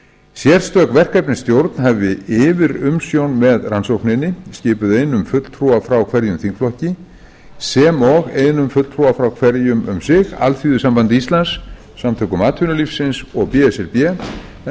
sérstök verkefnisstjórn hafi yfirumsjón með rannsókninni skipuð einum fulltrúa frá hverjum þingflokki sem og einum fulltrúa frá hverjum um sig alþýðusambandi íslands samtökum atvinnulífsins og b s r b en